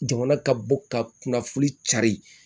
Jamana ka bɔ ka kunnafoni cari